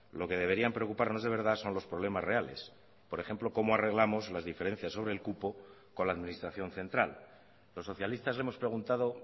lo que deberían preocuparnos de verdad son los problemas reales por ejemplo cómo arreglamos las diferencias sobre el cupo con la administración central los socialistas hemos preguntado